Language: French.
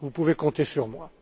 Vous pouvez compter sur moi.